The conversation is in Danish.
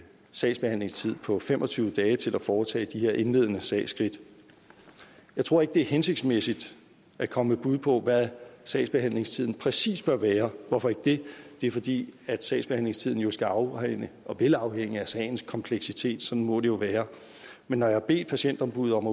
sagsbehandlingstid på fem og tyve dage til at foretage de her indledende sagsskridt jeg tror ikke det er hensigtsmæssigt at komme med bud på hvad sagsbehandlingstiden præcis bør være hvorfor ikke det det er fordi sagsbehandlingstiden jo skal afhænge og vil afhænge af sagens kompleksitet sådan må det jo være men når jeg har bedt patientombuddet om